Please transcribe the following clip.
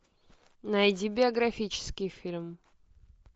найди биографический фильм